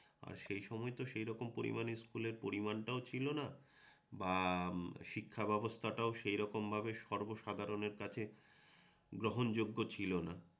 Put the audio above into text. আর সেই সময় তো সেই রকম পরিমাণে স্কুলের পরিমাণটাও ছিলনা বা শিক্ষা ব্যবস্থাটাও সেইরকম ভাবে সর্বসাধারণের কাছে গ্রহণযোগ্য ছিলনা।